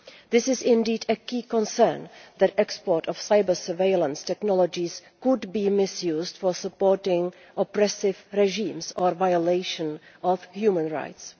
It is indeed a key concern that the export of cyber surveillance technologies could be misused for supporting oppressive regimes or the violation of human rights.